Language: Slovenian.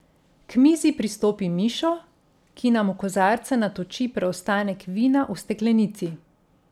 K mizi pristopi Mišo, ki nam v kozarce natoči preostanek vina v steklenici.